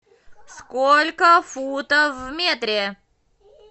сколько футов в метре